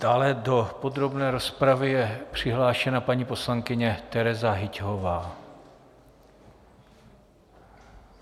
Dále do podrobné rozpravy je přihlášena paní poslankyně Tereza Hyťhová.